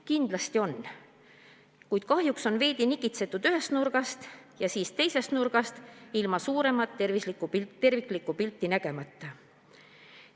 Kindlasti on, kuid kahjuks on veidi nokitsetud ühes nurgas ja siis teises nurgas ilma suuremat terviklikku pilti nägemata.